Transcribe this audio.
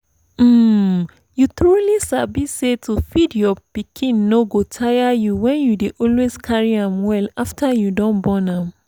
um you truly sabi say to feed your pikin no go tire you when you dey always carry am well after you don born am